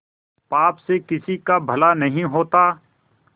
पाप से किसी का भला नहीं होता